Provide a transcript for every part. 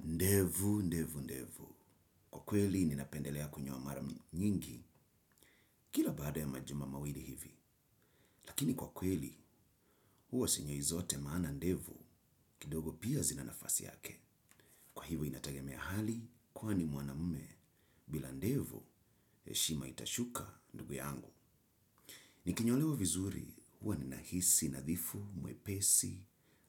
Ndevu, ndevu, ndevu. Kwa kweli ninapendelea kunyoa mara nyingi kila baada ya majuma mawili hivi. Lakini kwa kweli, huwa sinyoi zote maana ndevu kidogo pia zina nafasi yake. Kwa hivo inatagemea hali kwani mwanamume bila ndevu heshima itashuka ndugu yangu. Nikinyolewa vizuri huwa ninahisi, nadhifu, mwepesi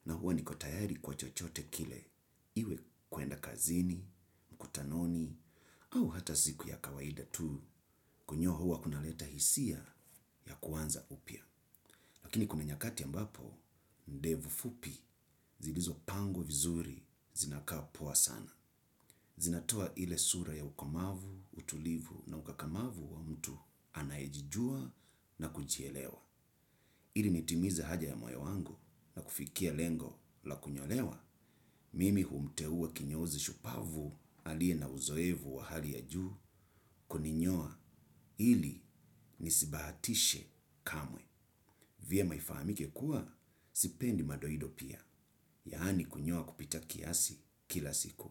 na huwa niko tayari kwa chochote kile. Iwe kuenda kazini, mkutanoni, au hata siku ya kawaida tu, kunyoa huwa kunaleta hisia ya kuanza upya. Lakini kuna nyakati ambapo, ndevu fupi, zilizo pangwa vizuri, zinakaa poa sana. Zinatoa ile sura ya ukomavu, utulivu na ukakamavu wa mtu anayejijua na kujielewa. Ili nitimize ahadi ya moyo wangu na kufikia lengo la kunyolewa, mimi humteuwa kinyozi shupavu aliye na uzoevu wa hali ya juu kuninyoa ili nisibahatishe kamwe. Vyema ifahamike kuwa, sipendi madoido pia, yaani kunyoa kupita kiasi kila siku,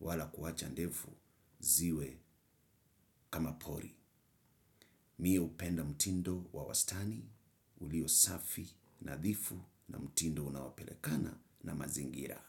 wala kuacha ndevu ziwe kama pori. Mi hupenda mtindo wa wastani, ulio safi, nadhifu na mtindo unaopelekana na mazingira.